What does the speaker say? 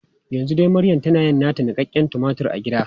Yanzu dai maryam tana yin nata niƙaƙƙen tumatur a gida.